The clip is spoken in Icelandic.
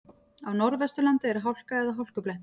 Á Norðvesturlandi er hálka eða hálkublettir